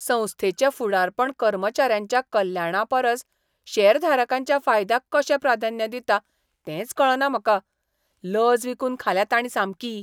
संस्थेचें फुडारपण कर्मचाऱ्यांच्या कल्याणापरस शेअरधारकांच्या फायद्याक कशें प्राधान्य दिता तेंच कळना म्हाका. लज विकून खाल्या ताणीं सामकी!